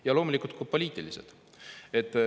Ja loomulikult on ka poliitilised põhjused.